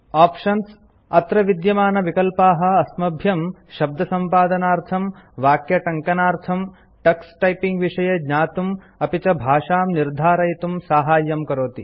options - अत्र विद्यमानविकल्पाः अस्मभ्यं शब्दसम्पादनार्थं वाक्यटङ्कनार्थं टक्स टैपिङ्ग विषये ज्ञातुं अपि च भाषां निर्धारयितुं साहाय्यं करोति